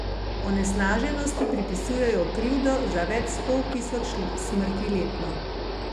Onesnaženosti pripisujejo krivdo za več sto tisoč smrti letno.